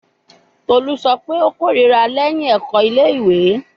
Tolu sọ pe o korira lẹhin ẹkọ ile-iwe